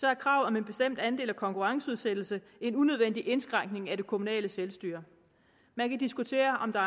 er et krav om en bestemt andel af konkurrenceudsættelse en unødvendig indskrænkning af det kommunale selvstyre man kan diskutere om der